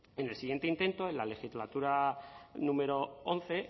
en el siguiente intento en la legislatura número once